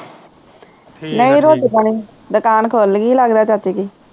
ਨਹੀਂ ਰੋਟੀ ਪਾਣੀ ਦਕਾਨ ਖੋਲਗੀ ਲਗਦਾ ਚਾਚੇ ਦੀ